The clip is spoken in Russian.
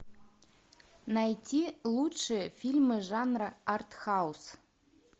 найти лучшие фильмы жанра артхаус